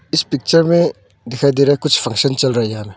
इस पिक्चर में दिखाई दे रहा कुछ फंक्शन चल रहा है यहा--